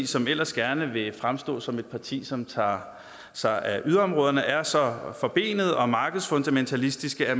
som ellers gerne vil fremstå som et parti som tager sig af yderområderne er så forbenede og markedsfundamentalistiske at